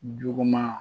Juguman